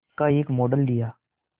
का एक मॉडल दिया